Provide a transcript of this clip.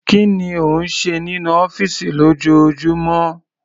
Kí ni ó ń ṣe nínú ọ́fìsì lójoojúmọ́?